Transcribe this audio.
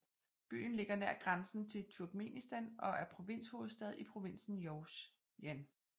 Byen ligger nær grænsen til Turkmenistan og er provinshovedstad i provinsen Jowzjan